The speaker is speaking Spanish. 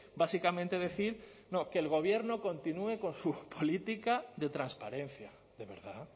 básicamente decir no que el gobierno continúe con su política de transparencia de verdad